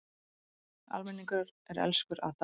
Almenningur er elskur að Daða.